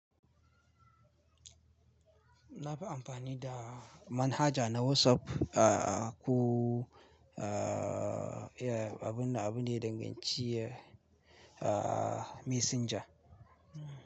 Na fi amfani da manhaja na WhatsApp, aa ko aa iya abun na abu ne danganci aa Messenger.